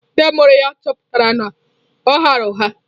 Ndị mụrụ ya chọpụtara na ọ ghaara ụgha.